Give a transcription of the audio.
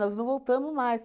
nós não voltamos mais.